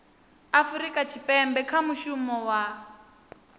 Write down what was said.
afurika tshipembe kha mushumo wa